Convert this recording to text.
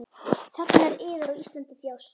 Þegnar yðar á Íslandi þjást.